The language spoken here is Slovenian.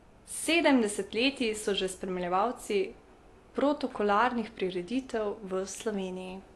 Sedem desetletij so že spremljevalci protokolarnih prireditev v Sloveniji.